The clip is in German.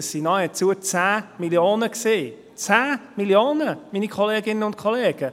Das waren nahezu 10 Mio. Franken – 10 Mio. Franken, meine Kolleginnen und Kollegen.